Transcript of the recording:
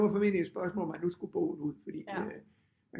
Det var formentligt et spørgsmål om at nu skulle bogen ud fordi at øh